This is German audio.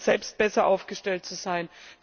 selbst besser aufgestellt zu sein.